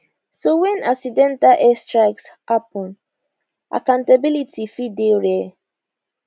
so wen accidental airstrikes happun accountability fit dey rare